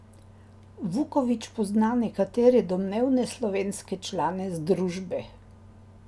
Vuković pozna nekatere domnevne slovenske člane združbe.